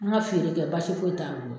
N ka feere kɛ basi foyi t'a bolo